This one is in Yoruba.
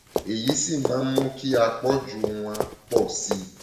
èyí sì máa ń mú kí àpọjù wọn pọ sí i